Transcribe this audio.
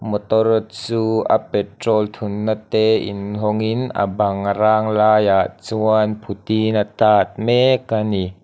motor chu a petrol thunna te inhawngin a bang râng laiah chuan phuti a tât mek a ni.